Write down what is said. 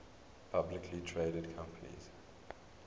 publicly traded companies